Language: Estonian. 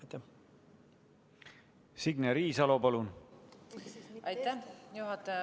Aitäh, juhataja!